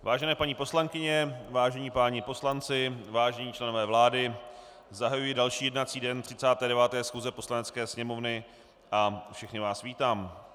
Vážené paní poslankyně, vážení páni poslanci, vážení členové vlády, zahajuji další jednací den 39. schůze Poslanecké sněmovny a všechny vás vítám.